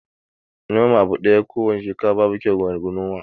Nome abu ɗaya ko wane shekara babu kwai wa gona